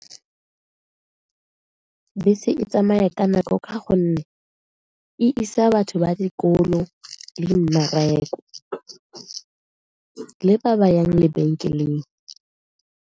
Bese e tsamaya ka nako ka gonne e isa batho ba dikolo le mmereko le ba ba yang lebenkeleng.